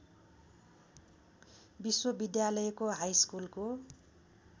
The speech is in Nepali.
विश्वविद्यालयको हाइस्कुलको